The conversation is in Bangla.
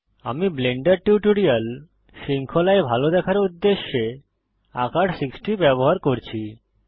আমি ব্লেন্ডার টিউটোরিয়াল শৃঙ্খলায় ভাল দেখার উদ্দেশ্যে আকার 60 ব্যবহার করছি